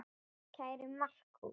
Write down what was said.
Kæri Markús.